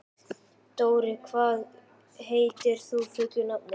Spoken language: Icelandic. Dorri, hvað heitir þú fullu nafni?